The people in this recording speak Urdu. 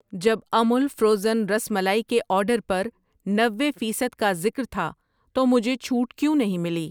جب امول فروزن رس ملائی کے آرڈر پر نوے فیصد کا ذکر تھا تو مجھے چھوٹ کیوں نہیں ملی؟